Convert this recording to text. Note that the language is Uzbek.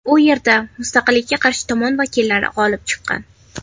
U yerda mustaqillikka qarshi tomon vakillari g‘olib chiqqan.